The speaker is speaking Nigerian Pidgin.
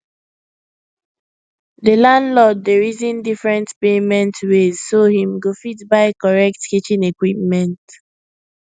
the landlord dey reason different payment ways so him go fit buy correct kitchen equipment